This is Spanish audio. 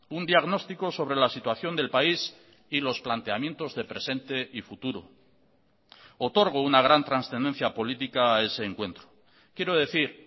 un diagnóstico sobre la situación del país y los planteamientos de presente y futuro otorgo una gran trascendencia política a ese encuentro quiero decir